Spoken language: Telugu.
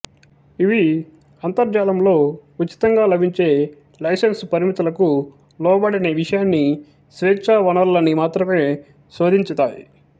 ఇవి అంతర్జాలంలో ఉచితంగా లభించే లైసెన్స్ పరిమితులకు లోబడని విషయాన్ని స్వేచ్ఛా వనరులని మాత్రమే శోధించుతాయి